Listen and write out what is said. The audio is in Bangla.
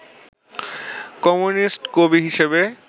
কমিউনিস্ট কবি হিসেবে